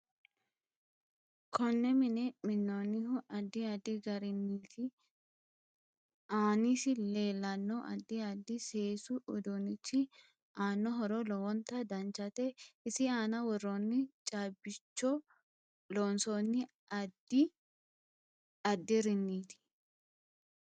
Konne mine minoonihu addi addi gariniiti aansi leelanno addi addi seesu uduunichi aano horo lowonta danchate isi aana worooni caabicho loosooni addi addiriniiti